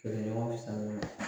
Kɛlɛɲɔgɔn